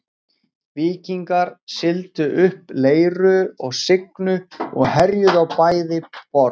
Víkingar sigldu upp Leiru og Signu og herjuðu á bæði borð.